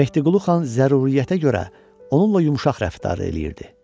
Mehdiqulu xan zəruriyyətə görə onunla yumşaq rəftar eləyirdi.